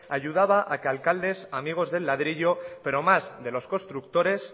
ayudaba a que alcaldes amigos del ladrillo pero más de los constructores